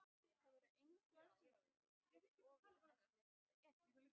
Það væri engu að síður við ofurefli að etja.